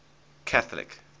catholic